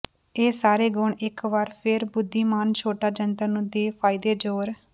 ਇਹ ਸਾਰੇ ਗੁਣ ਇਕ ਵਾਰ ਫਿਰ ਬੁੱਧੀਮਾਨ ਛੋਟਾ ਜੰਤਰ ਨੂੰ ਦੇ ਫਾਇਦੇ ਜ਼ੋਰ